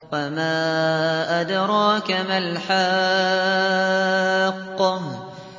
وَمَا أَدْرَاكَ مَا الْحَاقَّةُ